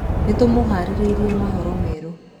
Nĩtũmaharĩrĩirie maũhoro merũ.